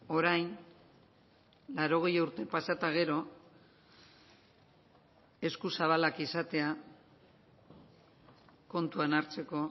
orain laurogei urte pasa eta gero eskuzabalak izatea kontuan hartzeko